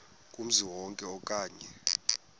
kumzi wonke okanye